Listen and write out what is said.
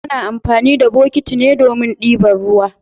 Ana amfani da botiki ne domin dibar ruwa.